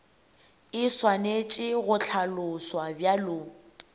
e swanetše go hlaloswa bjalo